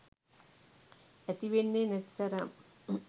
ඇතිවෙන්නේ නැති තරම්.